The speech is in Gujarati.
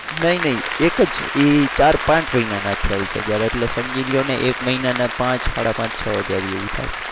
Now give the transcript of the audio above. નહીં નહીં એક જ એ ચાર પાંચ મહિનાના અઠાવીસ હજાર એટલે સમજી લ્યો ને એક મહિના ના પાંચ સાડા પાંચ છ હજાર જેવુ થાય.